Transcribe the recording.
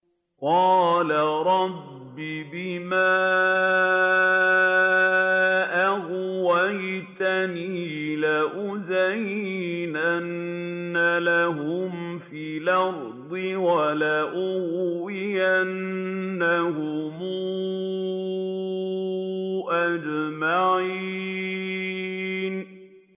قَالَ رَبِّ بِمَا أَغْوَيْتَنِي لَأُزَيِّنَنَّ لَهُمْ فِي الْأَرْضِ وَلَأُغْوِيَنَّهُمْ أَجْمَعِينَ